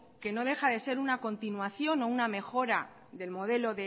que no deja de ser una continuación o una mejora del modelo